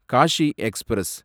Cauchy express